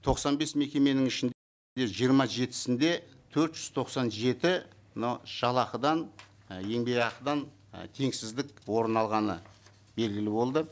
тоқсан бес мекеменің жиырма жетісінде төрт жүз тоқсан жеті мынау жалақыдан і еңбекақыдан і теңсіздік орын алғаны белгілі болды